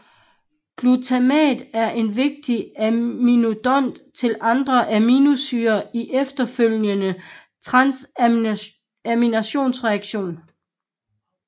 Glutamat er en vigtig aminodonor til andre aminosyrer i efterfølgende transaminationsreaktioner